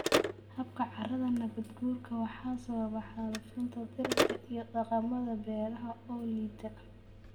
habka carrada nabaad guurka waxaa sababa xaalufinta dhirta iyo dhaqamada beeraha oo liita.